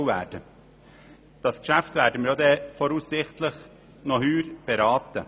Das entsprechende Geschäft werden wir voraussichtlich noch in diesem Jahr beraten.